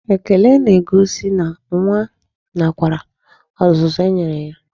Ekele n'egosi na nwa nakwere ọzụzụ e nyere ya.